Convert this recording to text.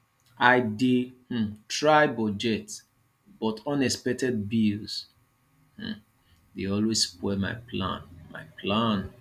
i dey um try budget but unexpected bills um dey always spoil my plan my plan